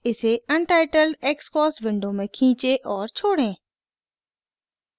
इसे untitled xcos window में खींचें और छोड़ें